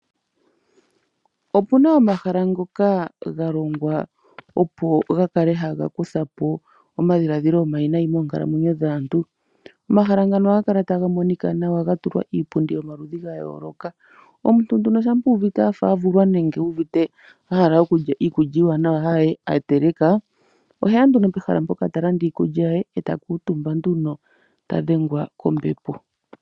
Opuna omahala omawaanawa hoka aantu haya yi ngele ya hala oku luudhitha nawa . Ko mahala ngaka ohaku landithwa iikulya iiwaanawa , okuna woo iipundi iiwaanawa hoka aantu haya kala omutumba niitafula iiwaanawa.